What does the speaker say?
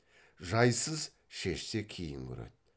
жайсыз шешсе кейін көреді